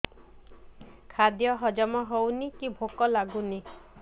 ଖାଦ୍ୟ ହଜମ ହଉନି କି ଭୋକ ଲାଗୁନି